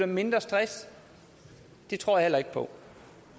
mindre stress det tror jeg heller ikke på